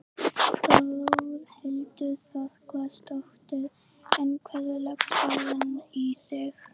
Þórhildur Þorkelsdóttir: En hvernig leggst dagurinn í þig?